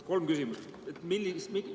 Kolm küsimust.